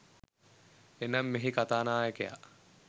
එනම්, මෙහි කතා නායකයා